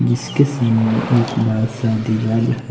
जिसके सामने एक बड़ा सा दीवाल है।